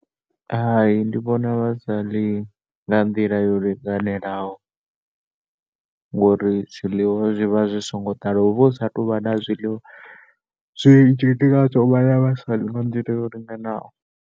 Hai, ndi vhona vha sa ḽi nga nḓila yo linganelaho ngori zwiḽiwa zwi vha zwi songo ḓala. Hu vha hu sa tou vha na zwiḽiwa zwinzhi ndi ngazwo vhana vha sa ḽi nga nḓila yo linganaho.